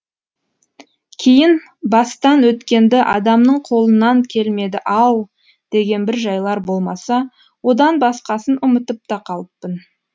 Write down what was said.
кейін бастан өткенді адамның қолынан келмеді ау деген бір жайлар болмаса одан басқасын ұмытып та қалыппын